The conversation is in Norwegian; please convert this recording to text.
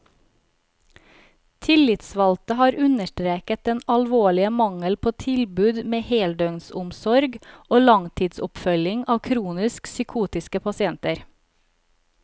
Tillitsvalgte har understreket den alvorlige mangel på tilbud med heldøgnsomsorg og langtidsoppfølging av kronisk psykotiske pasienter.